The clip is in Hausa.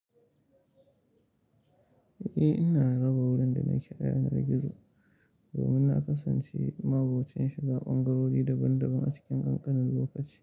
Eh, ina raba wurin da nake yanar gizo domin na kasance ma binciken shiga ɓangarori daban daban a cikin ƙanƙanin lokaci.